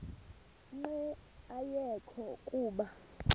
nqe ayekho kuba